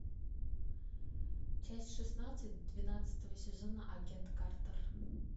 часть шестнадцать двенадцатого сезона агент картер